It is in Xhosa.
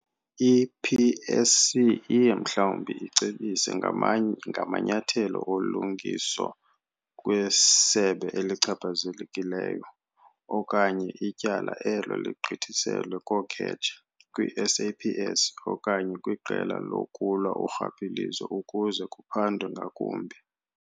I-PSC iye mhlawumbi icebise ngamanyathelo olungiso kwisebe elichaphazelekileyo okanye ityala elo ligqithiselwe kooKhetshe, kwi-SAPS okanye kwiQela lokuLwa uRhwaphilizo ukuze kuphandwe ngakumbi.